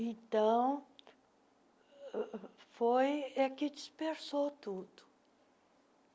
Então, ãh foi a que dispersou tudo.